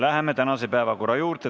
Läheme tänaste päevakorrapunktide juurde.